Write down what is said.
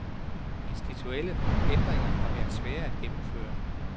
Institutionelle ændringer kan være svære at gennemføre.